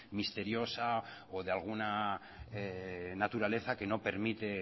misteriosa o de la alguna naturaleza que no permite